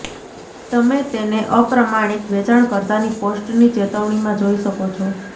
તમે તેને અપ્રમાણિક વેચાણકર્તાની પોસ્ટની ચેતવણીમાં જોઈ શકો છો